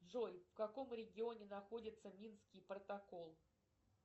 джой в каком регионе находится минский протокол